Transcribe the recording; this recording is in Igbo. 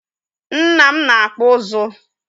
Nna m na-akpụ ụzụ